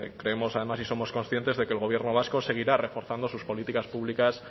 creemos además y somos conscientes de que el gobierno vasco seguirá reforzando sus políticas públicas